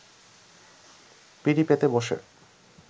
পিঁড়ি পেতে বসে